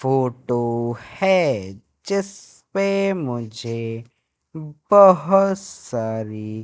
photo है जिस पे मुझे बहोत सारी--